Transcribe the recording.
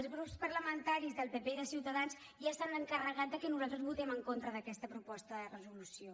els grups parlamentaris del pp i de ciutadans ja s’han encarregat de que nosaltres votem en contra d’aquesta proposta de resolució